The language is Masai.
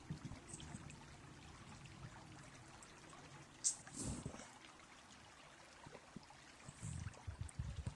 aunisho too ilmutaroni, tuuno mbenek o kwashwn olkokoyok nidung ashu